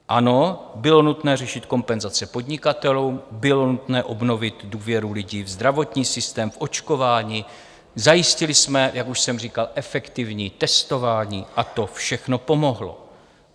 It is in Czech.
Ano, bylo nutné řešit kompenzace podnikatelům, bylo nutné obnovit důvěru lidí v zdravotní systém, v očkování, zajistili jsme, jak už jsem říkal, efektivní testování, a to všechno pomohlo.